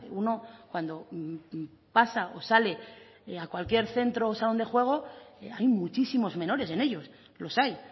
uno cuando pasa o sale a cualquier centro o salón de juego hay muchísimos menores en ellos los hay